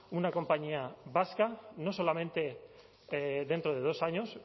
una compañía vasca no solamente dentro de dos años